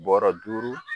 Bɔrɔ duuru